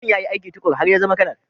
Mutumin ya yi aiki tuƙuru har ya zama Kanar